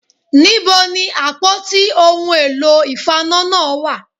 Níbo ni àpótí ohun èlò ìfaná náà wà